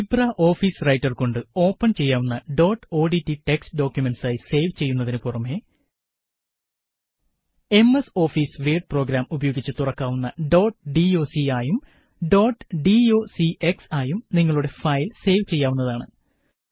Libre office writer കൊണ്ട് open ചെയ്യാവുന്ന dot ODT text ഡോക്കുമന്റ്സായി സേവ് ചെയ്യുന്നതിനു പുറമെ എംഎസ് ഓഫീസ് വേഡ് പ്രോഗ്രാം ഉപയോഗിച്ച് തുറക്കാവുന്ന ഡോട്ട് ഡോക്ക് ആയും ഡോട്ട് ഡോക്സ് ആയും നിങ്ങളുടെ ഫയല് സേവ് ചെയ്യാവുന്നതാണ്